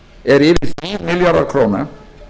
er yfir tíu milljarðar króna